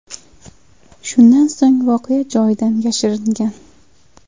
Shundan so‘ng voqea joyidan yashiringan.